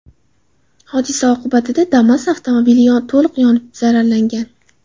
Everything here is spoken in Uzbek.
Hodisa oqibatida Damas avtomobili to‘liq yonib zararlangan.